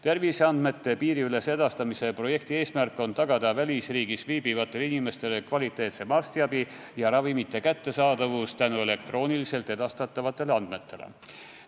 Terviseandmete piiriülese edastamise projekti eesmärk on tagada välisriigis viibivatele inimestele kvaliteetsem arstiabi ja ravimite kättesaadavus tänu elektrooniliselt edastatavatele andmetele.